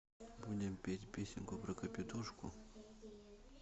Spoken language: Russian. будем петь песенку про капитошку